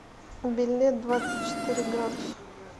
билет двадцать четыре градуса